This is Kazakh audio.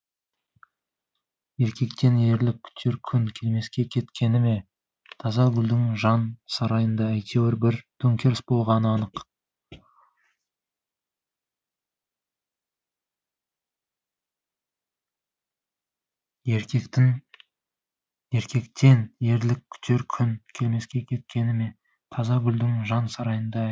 еркектен ерлік күтер күн келмеске кеткені ме тазагүлдің жан сарайында әйтеуір бір төңкеріс болғаны анық